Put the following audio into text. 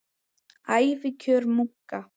Ævikjör munka